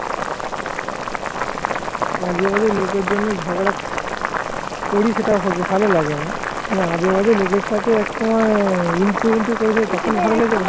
আজেবাজে লোকের জন্য ঝগড়া করিস সেটা ভালো লাগেনা, আজেবাজে লোকের সাথে এক সময় ইনটু মিন্টু করেছে তখন ভালো লাগছে